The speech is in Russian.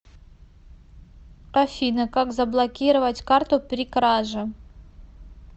афина как заблокировать карту при краже